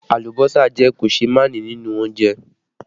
Alùbọ́sà jẹ́ koseemani nínú oúnjẹ